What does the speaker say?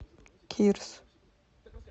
кирс